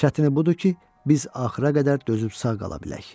Çətini budur ki, biz axıra qədər dözüb sağ qala bilək.